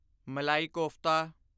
malai kofta